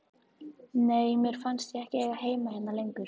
Nei, mér fannst ég ekki eiga heima hérna lengur.